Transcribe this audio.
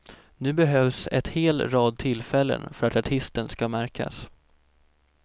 Nu behövs ett hel rad tillfällen för att artisten ska märkas.